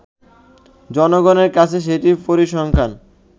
জনগনের কাছে সেটির পরিসংখ্যান